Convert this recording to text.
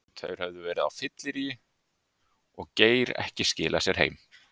Þeir höfðu verið á fylleríi og Geir ekki skilað sér heim.